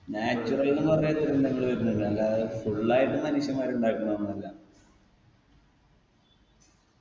natural ന്നും പറഞ്ഞ ദുരന്തങ്ങള് വരുന്നത് അല്ലാതെ full ആയിട്ട് മനുഷ്യന്മാര് ഉണ്ടാക്കുന്നൊന്നു അല്ല